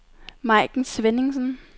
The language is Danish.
Maiken Svenningsen